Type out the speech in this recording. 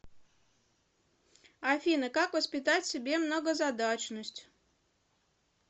афина как воспитать в себе многозадачность